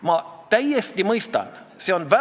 Mihhail Stalnuhhin Eesti Keskerakonna fraktsiooni nimel.